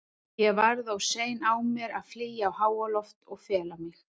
Ég varð of sein á mér að flýja á háaloft og fela mig.